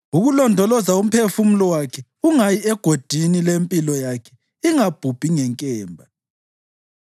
ukulondoloza umphefumulo wakhe ungayi egodini, lempilo yakhe ingabhubhi ngenkemba.